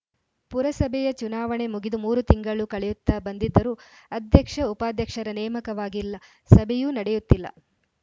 ಪುರಸಭೆಯ ಚುನಾವಣೆ ಮುಗಿದು ಮೂರು ತಿಂಗಳು ಕಳೆಯುತ್ತಾ ಬಂದಿದ್ದರೂ ಅಧ್ಯಕ್ಷಉಪಾಧ್ಯಕ್ಷರ ನೇಮಕವಾಗಿಲ್ಲ ಸಭೆಯೂ ನಡೆಯುತ್ತಿಲ್ಲ